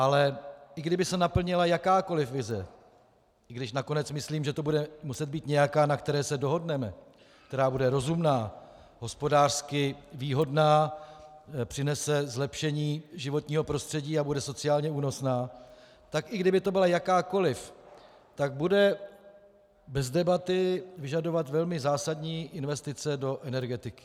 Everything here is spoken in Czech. Ale i kdyby se naplnila jakákoli vize, i když nakonec myslím, že to bude muset být nějaká, na které se dohodneme, která bude rozumná, hospodářsky výhodná, přinese zlepšení životního prostředí a bude sociálně únosná, tak i kdyby to byla jakákoliv, tak bude bez debaty vyžadovat velmi zásadní investice do energetiky.